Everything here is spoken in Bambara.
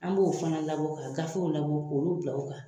An b'o fana labɔ ka gafew labɔ k'olu bila o kan